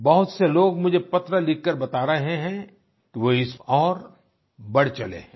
बहुत से लोग मुझे पत्र लिखकर बता रहे हैं कि वो इस ओर बढ़ चले हैं